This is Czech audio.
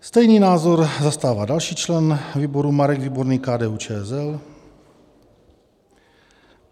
Stejný názor zastává další člen výboru Marek Výborný, KDU-ČSL.